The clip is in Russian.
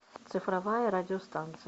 цифровая радиостанция